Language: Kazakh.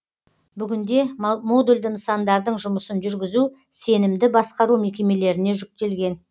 бүгінде модульді нысандардың жұмысын жүргізу сенімді басқару мекемелеріне жүктелген